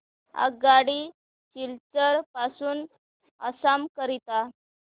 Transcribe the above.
आगगाडी सिलचर पासून आसाम करीता